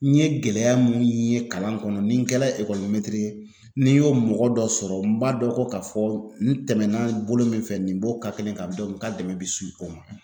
N ye gɛlɛya mun ye kalan kɔnɔ ni n kɛla n'i y'o mɔgɔ dɔ sɔrɔ n b'a dɔn ko ka fɔ n tɛmɛna bolo min fɛ nin b'o kelen ka n ka dɛmɛ bi su o ma.